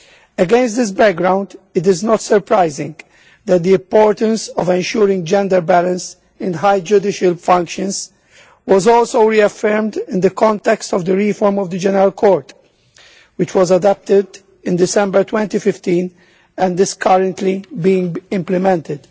Against this background, it is not surprising that the importance of ensuring gender balance in high judicial functions was also reaffirmed in the context of the reform of the General Court, which was adopted in December 2015 and is currently being implemented.